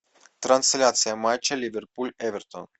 трансляция матча ливерпуль эвертон